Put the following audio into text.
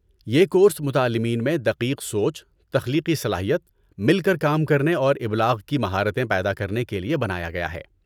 یہ کورس متعلمین میں دقیق سوچ، تخلیقی صلاحیت، مل کر کام کرنے اور ابلاغ کی مہارتیں پیدا کرنے کے لیے بنایا گیا ہے۔